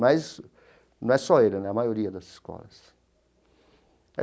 Mas não é só ele né, é a maioria das escolas.